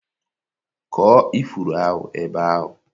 kụọ ifuru ahụ ebe ahụ!